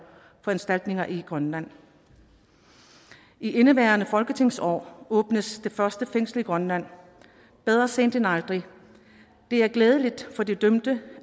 i grønland i indeværende folketingsår åbnes det første fængsel i grønland bedre sent end aldrig det er glædeligt for de dømte